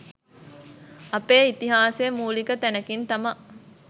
අපේ ඉතිහාසය මූලික තැනකින් තමා